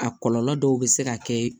A kɔlɔlɔ dɔw bɛ se ka kɛ